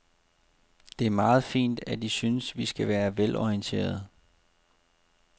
Det er meget fint, at I synes, vi skal være velorienterede.